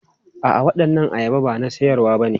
A'a, waɗannan ayaba ba na siyarwa bane.